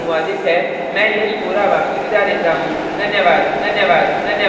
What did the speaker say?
यह स्क्रिप्ट लता द्वारा अनुवादित है मैं यश वोरा अब आपसे विदा लेता हूँ धन्यवाद